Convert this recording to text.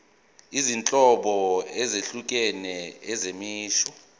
izinhlobo ezahlukene zemisho